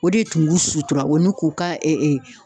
O de tun b'u sutura o ni k'u ka